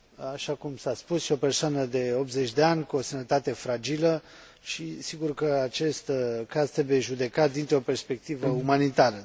Așa cum s a spus, e o persoană de 80 de ani, cu o sănătate fragilă, și sigur că acest caz trebuie judecat dintr o perspectivă umanitară.